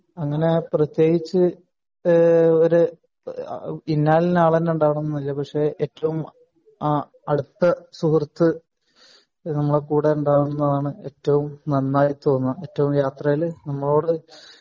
അങ്ങിനെ പ്രത്യേകിച്ച് ഈഹ് ഒരു ഇന്നാലിന്ന അളന്നെ ഉണ്ടാവനം എന്നില്ല പക്ഷെ ഏറ്റവും അ അടുത്ത സുഹൃത് നമ്മുട കൂടെ ഉണ്ടാവണം എന്നാണ് ഏറ്റവും നന്നായി തോന്നെ ഏറ്റവും യാത്രയിൽ നമ്മളോട്